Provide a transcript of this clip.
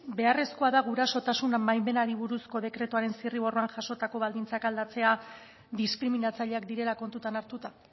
beharrezkoa da gurasotasun baimenari buruzko dekretuaren zirriborroan jasotako baldintzak aldatzea diskriminatzaileak direla kontutan hartuta